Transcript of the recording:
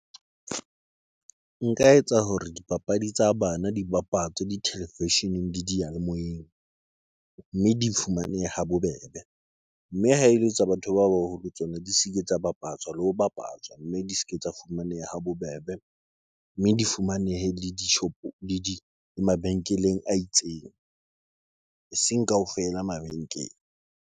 Nka etsa hore dipapadi tsa bana di bapatswe di television-eng le diyalemoyeng mme di fumanehe ha bobebe, mme ha ele tsa batho ba baholo tsona di se ke di tsa bapatswa le ho bapatswa, mme di se ke tsa fumaneha ha bobebe mme di fumanehe le dishopo le di mabenkeleng a itseng, eseng kaofela mabenkele.